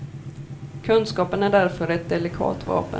Kunskapen är därför ett delikat vapen.